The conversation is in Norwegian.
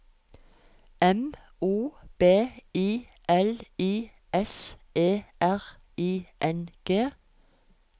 M O B I L I S E R I N G